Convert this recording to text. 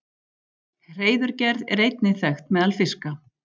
Hreiðurgerð er einnig þekkt meðal fiska.